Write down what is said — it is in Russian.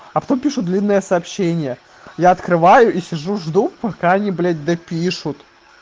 а потом пишут длинное сообщение я открываю и сижу жду пока они блядь допишут